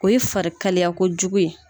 O ye farikalayakojugu ye.